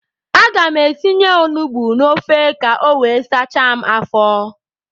Aga m etinye onugbu n'ofe ka o wee sachaa m afọ.